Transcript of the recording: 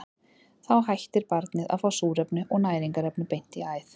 Þá hættir barnið að fá súrefni og næringarefni beint í æð.